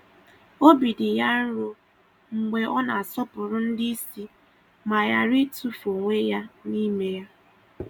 Obi dị ya nro mgbe ọ na-asọpụrụ ndị isi ma ghara itufu onwe ya n'ime ya.